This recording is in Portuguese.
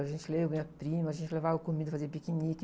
A gente, eu e minha prima, a gente levava comida, fazia piquenique.